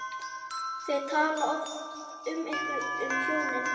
Þau tala oft um ykkur hjónin.